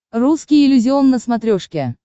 русский иллюзион на смотрешке